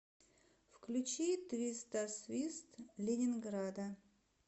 включи твистосвист ленинграда